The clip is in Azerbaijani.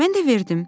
Mən də verdim.